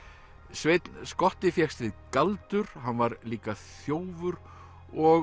sveinn skotti fékkst við galdur hann var líka þjófur og